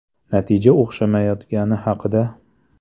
Natija o‘xshamayotgani haqida?